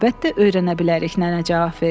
Əlbəttə öyrənə bilərik, nənə cavab verdi.